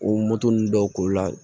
O moto ninnu dɔw koli la